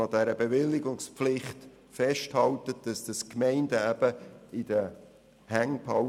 An dieser Bewilligungspflicht soll festgehalten werden, und die Gemeinden sollen dies in den Händen behalten.